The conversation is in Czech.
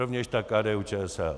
Rovněž tak KDU-ČSL.